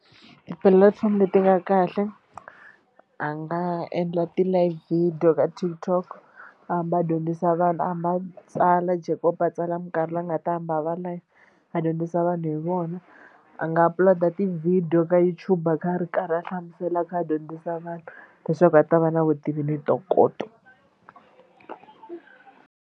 Tipulatifomo leti nga kahle a nga endla ti-live video ka TikTok a hamba a dyondzisa vanhu a va tsala Jacob a tsala mikarhi leyi nga ta hamba a va live a dyondzisa vanhu hi vona. A nga upload ti-video ka YouTube a kha a ri karhi a hlamusela a kha a dyondzisa vanhu leswaku a ta va na vutivi ni ntokoto.